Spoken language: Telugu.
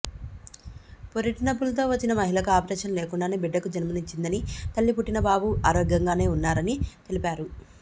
పురిటినొప్పులతో వచ్చిన మహిళకు ఆపరేషన్ లేకుండానే బిడ్డకు జన్మనిచ్చిందని తల్లి పుట్టిన బాబు ఆరోగ్యంగానే ఉన్నారని తెలిపారు